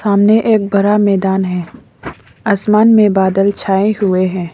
सामने एक बड़ा मैदान है आसमान में बादल छाए हुए हैं।